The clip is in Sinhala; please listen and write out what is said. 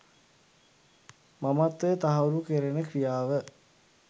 මමත්වය තහවුරු කැරෙන ක්‍රියාව